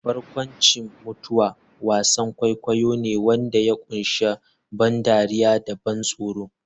Barkwanci-mutuwa wasan kwaikwayo ne wanda ya kunshi ban dariya da ban tsoro.